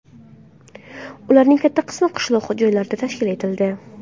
Ularning katta qismi qishloq joylarda tashkil etildi.